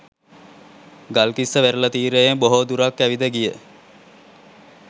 ගල්කිස්ස වෙරළ තීරයේ බොහෝ දුරක් ඇවිද ගිය